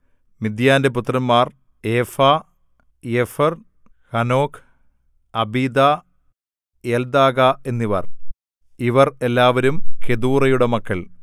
മിദ്യാന്റെ പുത്രന്മാർ ഏഫാ ഏഫെർ ഹനോക് അബീദാ എൽദാഗാ എന്നിവർ ഇവർ എല്ലാവരും കെതൂറയുടെ മക്കൾ